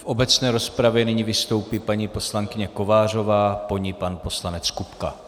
V obecné rozpravě nyní vystoupí paní poslankyně Kovářová, po ní pan poslanec Kupka.